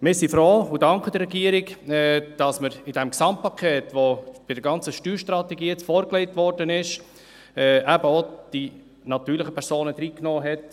Wir sind froh und danken der Regierung, dass man in dieses Gesamtpaket, das jetzt bei dieser ganzen Steuerstrategie vorgelegt wurde, eben auch die natürlichen Personen reingenommen hat.